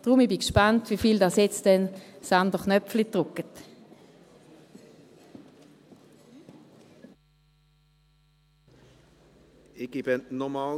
Deshalb bin ich gespannt, wie viele nun den anderen Knopf drücken werden.